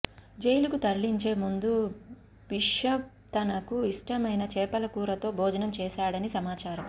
జైలుకు తరలించే ముందు బిషప్ తనకు ఇష్టమైన చేపలకూరతో భోజనం చేశాడని సమాచారం